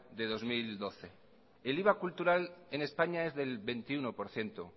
de dos mil doce el iva cultural en españa es del veintiuno por ciento